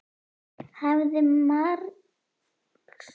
Hefði marxisminn ekki bara gott af slatta af hlutgervingu.